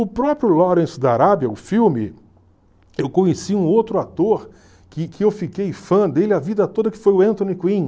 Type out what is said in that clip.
O próprio Lawrence da Arábia o filme, eu conheci um outro ator que que eu fiquei fã dele a vida toda, que foi o Anthony Quinn.